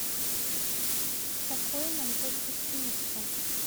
покой нам только снится